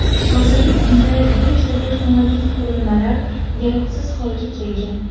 Hozirgi kunda beshta texnologik qurilmalar yaroqsiz holga kelgan.